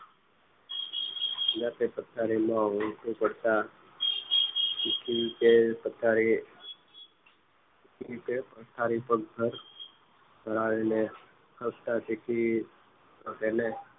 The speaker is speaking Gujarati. તે પથારીમાં પડતા કે અત્યારે પથારી પર ઘર આવીને સહજતાથી એને